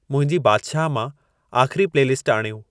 मुंहिंजी बादिशाह मां आख़री प्लेलिस्टु आणियो